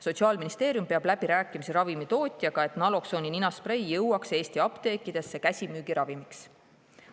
Sotsiaalministeerium peab läbirääkimisi ravimitootjaga, et naloksooni ninasprei saaks Eesti apteekides käsimüügiravimiks.